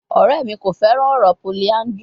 Ọrẹ mi ko fẹran ọrọ polyandry